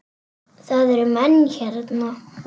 Það eru menn hérna!